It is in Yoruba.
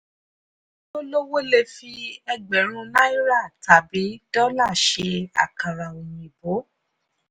ẹni tó lówó lè fi ẹgbẹ̀rún náírà tàbí dọ́là ṣe àkàrà òyìnbó.